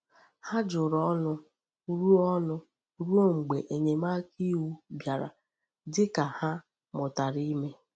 Ha juru ọnụ ruo ọnụ ruo mgbe enyemaka iwu bịara, dị ka ha mụtara ime.